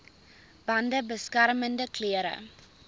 bande beskermende klere